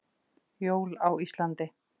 Jól á Íslandi.